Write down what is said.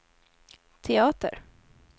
teater